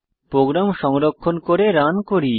programme সংরক্ষণ করে run করি